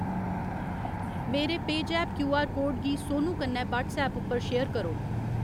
मेरे पेऽजैप QR code गी सोनू कन्नै व्हाट्सऐप उप्पर शेयर करो।